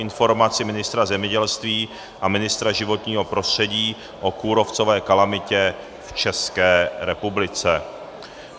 Informace ministra zemědělství a ministra životního prostředí o kůrovcové kalamitě v České republice